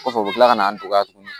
Kɔfɛ u bɛ tila ka na n dɔgɔya tuguni